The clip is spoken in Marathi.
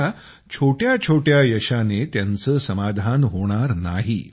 आता छोट्या छोट्या यशाने त्यांचे समाधान होणार नाही